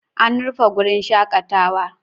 An rufe wurin shakatawa.